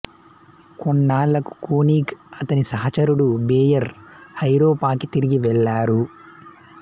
కొన్నాళ్ళకు Konig అతని సహచరుడు Beyer ఐరోపాకి తిరిగి వెళ్ళారు